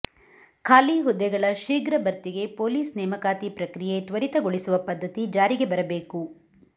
ಖಾಲಿ ಹುದ್ದೆಗಳ ಶೀಘ್ರ ಭರ್ತಿಗೆ ಪೊಲೀಸ್ ನೇಮಕಾತಿ ಪ್ರಕ್ರಿಯೆ ತ್ವರಿತಗೊಳಿಸುವ ಪದ್ಧತಿ ಜಾರಿಗೆ ಬರಬೇಕು